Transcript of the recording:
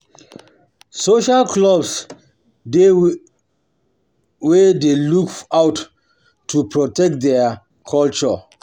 Social clubs dey wey dey look out to protect their culture